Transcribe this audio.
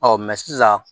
Ɔ sisan